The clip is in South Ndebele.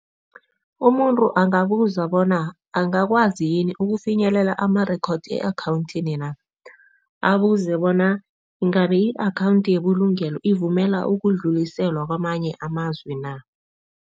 Umuntu angabuza bona angakwazi yini ukufinyelela ama-record e-akhawuntini na? Abuze bona ingabe i-akhawundi yebulungelo ivumela ukudluliselwa kwamanye amazwe na?.